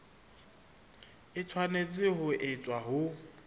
e tshwanetse ho etswa ho